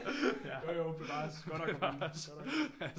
Jo jo bevares godt nok